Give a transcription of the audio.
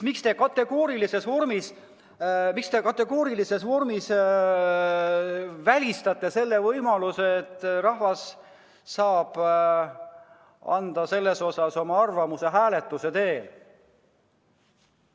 Miks te kategoorilises vormis välistate selle võimaluse, et rahvas saab oma arvamuse öelda hääletuse teel.